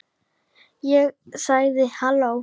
Ég sagði: Halló?